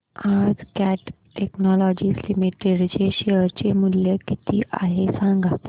आज Cat Technologies Limited चे share चे मूल्य किती आहे सांगा